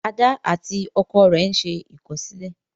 Ada àti ọkọ rẹ n'se ikọsilẹ